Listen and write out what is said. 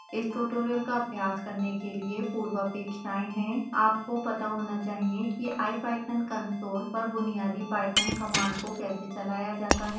इस ट्यूटोरियल का अभ्यास करने के लिए पूर्वापेक्षाएं हैं